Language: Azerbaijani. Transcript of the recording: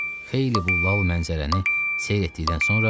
Xeyli bu lal mənzərəni seyr etdikdən sonra boğazını dartdı.